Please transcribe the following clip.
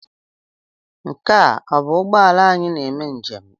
Nke a ọ bụ ụgbọ ala anyị na-eme njem?